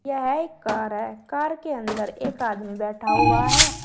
यह एक कार है कार के अंदर एक आदमी बैठा हुआ है।